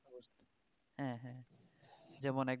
হ্যাঁ হ্যাঁ যেমন এক